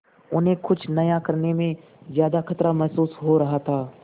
उन्हें कुछ नया करने में ज्यादा खतरा महसूस हो रहा था